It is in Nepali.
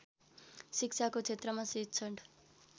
शिक्षाको क्षेत्रमा शिक्षण